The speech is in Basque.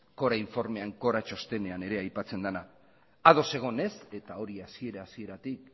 cora txostenean ere aipatzen dena ados egon ez eta hori hasiera hasieratik